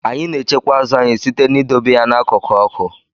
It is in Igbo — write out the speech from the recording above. Anyị na-echekwa azụ anyị site n'idobe ya n'akụkụ ọkụ.